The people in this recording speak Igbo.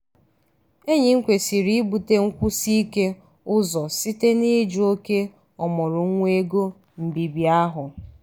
enyi m kwesịrị ibute nkwusi ike ụzọ site n'ijụ oke ọmụrụ nwa ego mbibi ahụ.